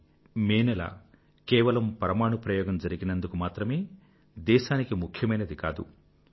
1998 May నెల కేవలం పరమాణు ప్రయోగం జరిగినందుకు మాత్రమే దేశానికి ముఖ్యమైనది కాదు